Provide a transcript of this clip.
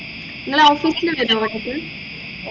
നിങ്ങള് office ലു വരുമോ എന്നിട്ടു